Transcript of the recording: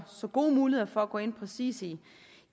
så gode muligheder for at gå ind præcis i